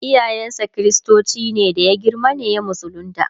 iyayen sa kristoci ne da ya girma ne ya musulunta